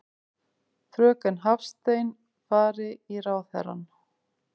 Fröken Hafstein fari í ráðherrann.